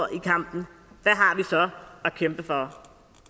i kampen hvad har vi så at kæmpe for